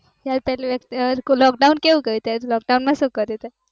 પેલું lockdown કેવું ગયું, lockdown માં શું કર્યું તે